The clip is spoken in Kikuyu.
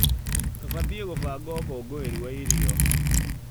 Tũbatie gũbanga ũkũngũĩri wa irio.